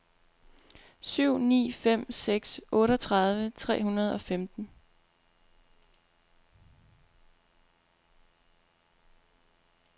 syv ni fem seks otteogtredive tre hundrede og femten